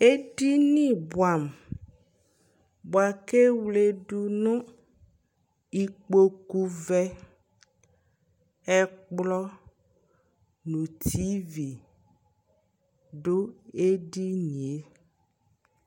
ɛdini bʋamʋ bʋakʋ ɛwlɛdʋ nʋ ikpɔkʋ vɛ, ɛkplɔ, nʋ TV dʋ ɛdiniɛ